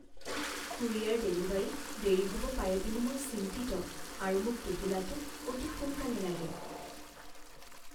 Courier ডেলিভাৰীত দেৰি হ'ব পাৰে বুলি মই চিন্তিত আৰু মোক টোপোলাটো অতি সোনকালে লাগে।